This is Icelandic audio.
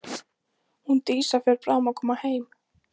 Hún Dísa fer bráðum að koma heim.